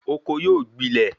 Oko yóò gbilẹ